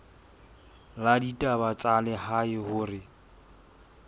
la ditaba tsa lehae hore